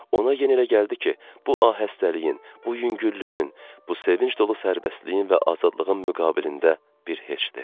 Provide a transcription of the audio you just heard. Ona yenilə gəldi ki, bu ahəstəliyin, bu yüngüllüyün, bu sevinc dolu sərbəstliyin və azadlığın müqabilində bir heçdir.